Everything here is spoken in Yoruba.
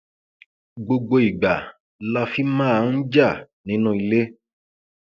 gbogbo ìgbà la fi máa ń jà nínú ilé